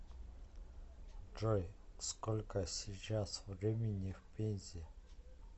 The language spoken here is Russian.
джой сколько сейчас времени в пензе